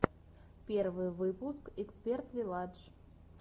первый выпуск эксперт вилладж